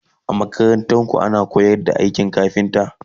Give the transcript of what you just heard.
a makarantarku ana koyar da aikin kafinta?